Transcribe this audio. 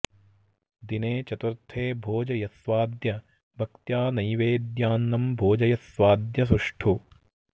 दिने चतुर्थे भोज यस्वाद्य भक्त्या नैवेद्यान्नं भोजयस्वाद्य सुष्ठु